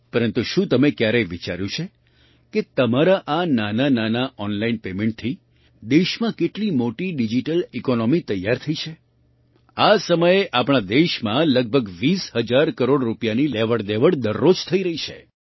પરંતુ શું તમે ક્યારેય વિચાર્યું છે કે તમારા આ નાનાંનાનાં ઑનલાઇન પેમેન્ટથી દેશમાં કેટલી મોટી ડિજિટલ ઇકૉનૉમી તૈયાર થઈ છે આ સમયે આપણા દેશમાં લગભગ ૨૦ હજાર કરોડ રૂપિયાની લેવડદેવડ દરરોજ થઈ રહી છે